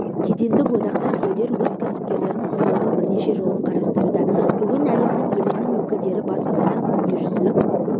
кедендік одақтас елдер өз кәсіпкерлерін қолдаудың бірнеше жолын қарастыруда бүгін әлемнің елінің өкілдері бас қосқан дүниежүзілік